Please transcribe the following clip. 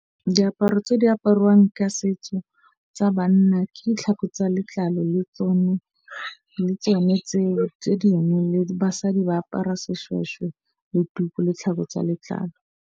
Diaparo tse di apariwang ka setso tsa banna ke ditlhako tsa letlalo le tsone tseo tse dingwe le basadi ba apara seshweshwe le tuku le tlhago tsa letlalo.